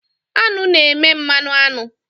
Aṅụ na-eme mmanụ aṅụ.